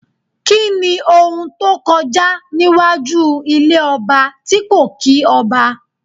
Kíni ohun tó kọjá níwájú ilé ọba tí kò kí ọba?